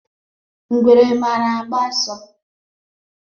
Ngwere mara agba ọsọ